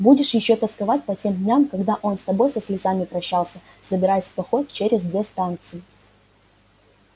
будешь ещё тосковать по тем дням когда он с тобой со слезами прощался собираясь в поход через две станции